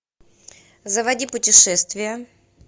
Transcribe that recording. заводи путешествия